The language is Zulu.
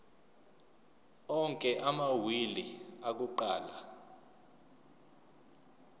onke amawili akuqala